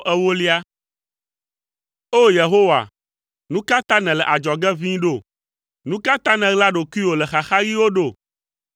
O! Yehowa, nu ka ta nèle adzɔge ʋĩi ɖo? Nu ka ta nèɣla ɖokuiwò le xaxaɣiwo ɖo?